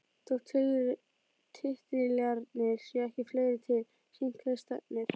Þótt titlarnir séu ekki fleiri er sýnt hvert stefnir.